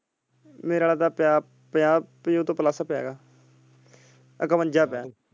ਮੇਰਾ ਆਲੇ ਤਾਂ ਪਿਆ ਤੋਂ plus ਪਿਆ ਇਕਵੰਜਾ ਪਿਆ।